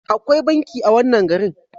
Akwai banki a wannan garin.